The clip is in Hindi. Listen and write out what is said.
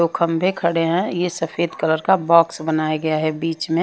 दो खंबे खड़े हैं ये सफेद कलर का बॉक्स बनाया गया है बीच में।